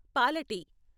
పాల టీ.